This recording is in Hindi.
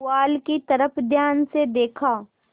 पुआल की तरफ ध्यान से देखा